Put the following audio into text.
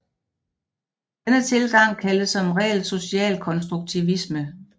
Denne tilgang kaldes som regel socialkonstruktivisme